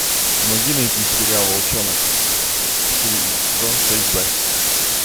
помоги найти сериал волчонок сезон шесть б